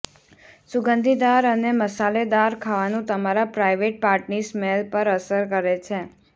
સુગંધીદાર અને મસાલેદાર ખાવાનું તમારા પ્રાઈવેટ પાર્ટની સ્મેલ પર અસર કરે છે